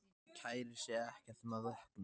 Kærir sig ekkert um að vökna.